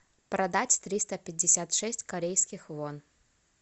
продать триста пятьдесят шесть корейских вон